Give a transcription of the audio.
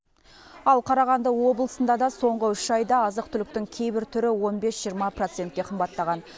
ал қарағанды облысында да соңғы үш айда азық түліктің кейбір түрі он бес жиырма процентке қымбаттаған